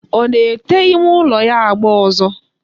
Ọ na-ete ime ụlọ ya agba ọzọ?